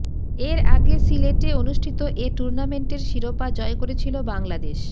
এর আগে সিলেটে অনুষ্ঠিত এ টুর্নামেন্টের শিরোপা জয় করেছিল বাংলাদেশ